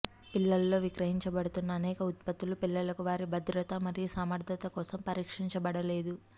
పిల్లలలో విక్రయించబడుతున్న అనేక ఉత్పత్తులు పిల్లలకు వారి భద్రత మరియు సమర్ధత కోసం పరీక్షించబడలేదు